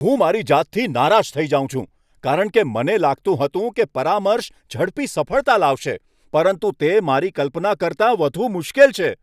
હું મારી જાતથી નારાજ થઈ જાઉં છું કારણ કે મને લાગતું હતું કે પરામર્શ ઝડપી સફળતા લાવશે, પરંતુ તે મારી કલ્પના કરતાં વધુ મુશ્કેલ છે.